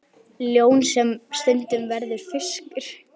Ljón sem stundum verður fiskur.